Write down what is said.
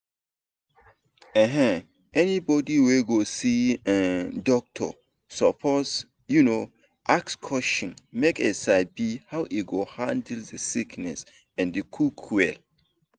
um anybody wey go see um doctor suppose um ask questions make e sabi how e go handle the sickness and quick well